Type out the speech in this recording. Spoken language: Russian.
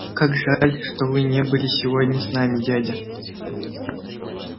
как жаль что вы не были сегодня с нами дядя